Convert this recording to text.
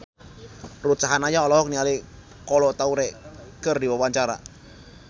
Ruth Sahanaya olohok ningali Kolo Taure keur diwawancara